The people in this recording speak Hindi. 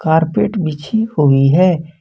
कारपेट बिछी हुई है।